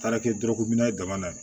Taara kɛ dɔrɔguyan na